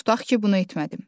Tutaq ki, bunu etmədim.